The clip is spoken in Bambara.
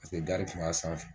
Paseke gari tun b'a sanfɛ.